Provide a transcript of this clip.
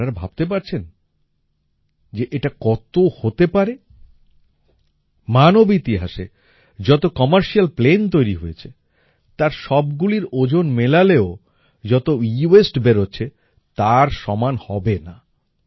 আপনারা ভাবতে পারছেন যে এটা কত হতে পারে মানব ইতিহাসে যত কমার্শিয়াল প্লেন তৈরি হয়েছে তার সবগুলির ওজন মেলালেও যত এওয়াসতে বেরোচ্ছে তার সমান হবে না